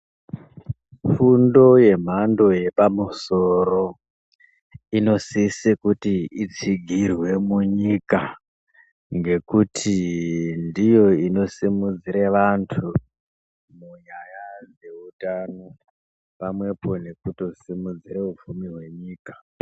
Fundo yemhando yepamusoro inosise kuti itsigirwe munyika. Ngekuti ndiyo inosimudzire vantu munyaya dzehutano pamwepo nekutosimudzira upfumi hwenyika.